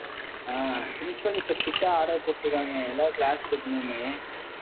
ஆஹ் principal இப்ப strict ஆ order போட்டிருக்காங்க. எல்லாரும் class எடுக்கணும்னு